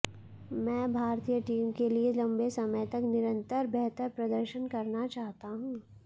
मैं भारतीय टीम के लिए लंबे समय तक निरंतर बेहतर प्रदर्शन करना चाहता हूं